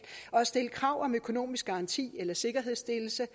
stille krav om økonomisk garanti eller sikkerhedsstillelse